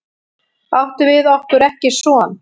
Áttum við okkur ekki son?